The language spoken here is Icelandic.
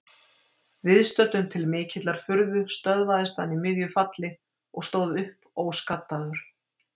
Viðstöddum til mikillar furðu stöðvaðist hann í miðju falli og stóð upp óskaddaður.